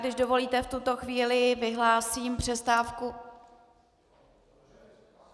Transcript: Když dovolíte v tuto chvíli vyhlásím přestávku.